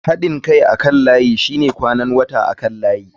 Haɗin kai akan layi shine kwanan wata akan layi.